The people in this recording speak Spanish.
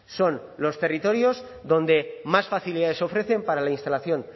son los territorios donde más facilidades ofrecen para la instalación